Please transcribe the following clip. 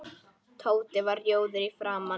Tóti varð rjóður í framan.